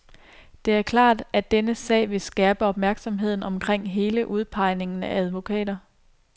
Det er klart, at denne sag vil skærpe opmærksomheden omkring hele udpegningen af advokater.